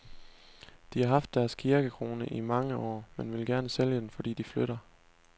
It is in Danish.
De har haft deres kirkekrone i mange år, men vil gerne sælge den, fordi de flytter.